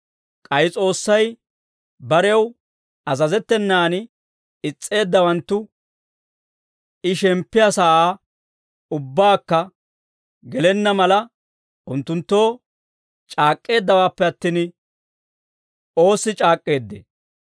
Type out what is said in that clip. K'ay S'oossay barew azazettenan is's'eeddawanttu I shemppiyaa sa'aa ubbaakka gelenna mala, unttunttoo c'aak'k'eeddawaappe attin, oossi c'aak'k'eeddee?